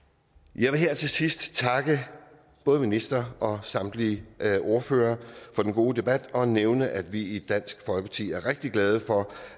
jeg vil her til sidst takke både ministeren og samtlige ordførere for den gode debat og nævne at vi i dansk folkeparti er rigtig glade for